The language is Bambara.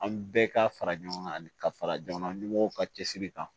An bɛɛ ka fara ɲɔgɔn kan ani ka fara jamana ɲɛmɔgɔw ka cɛsiri kan